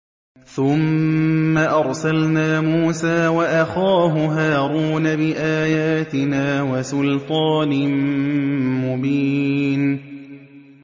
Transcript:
ثُمَّ أَرْسَلْنَا مُوسَىٰ وَأَخَاهُ هَارُونَ بِآيَاتِنَا وَسُلْطَانٍ مُّبِينٍ